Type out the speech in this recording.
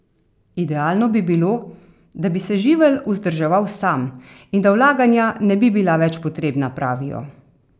Idealno bi bilo, da bi se živelj vzdrževal sam in da vlaganja ne bi bila več potrebna, pravijo.